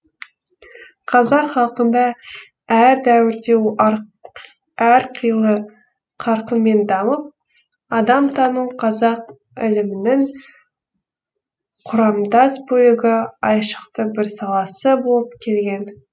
қазақ халқында әр дәуірде әрқилы қарқынмен дамып адамтану қазақ ілімінің құрамдас бөлігі айшықты бір саласы болып келген